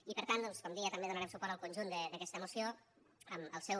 i per tant doncs com deia també donarem suport al conjunt d’aquesta moció en el seu